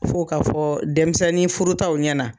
F'o ka fɔ denmisɛnnin furutaw ɲɛna